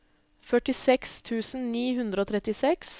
førtiseks tusen ni hundre og trettiseks